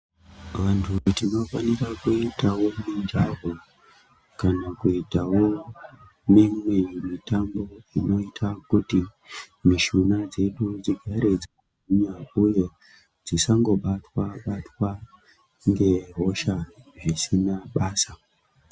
Vantu tinofanirwa kuita mijaho kana kuitawo mimwe mitambo inoita kuti mishuna dzedu dzigare dzisina buyo dzisangobatwa batwa ngehosha zvisina basa